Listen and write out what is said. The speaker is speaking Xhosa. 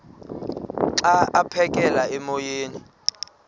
xa aphekela emoyeni